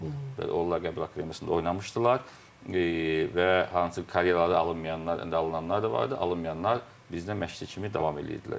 Onlar Qəbələ Akademiyasında oynamışdılar və hansı ki, karyeraları alınmayanlar, alınanlar da vardı, alınmayanlar bizdə məşqçi kimi davam eləyirdilər.